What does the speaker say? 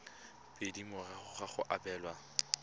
pedi morago ga go abelwa